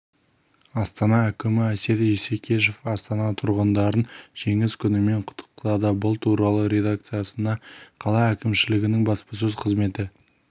астана әкімі әсет исекешев астана тұрғындарын жеңіс күнімен құттықтады бұл туралы редакциясына қала әкімшілігінің баспасөз қызметі